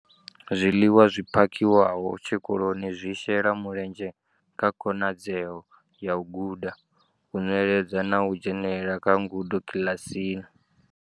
Zwiḽiwa zwi phakhiwaho tshikoloni zwi shela mulenzhe kha khonadzeo ya u guda, u nweledza na u dzhenela kha ngudo kiḽasini.